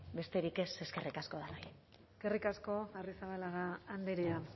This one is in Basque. besterik ez eskerrik asko denoi eskerrik asko arrizabalaga andrea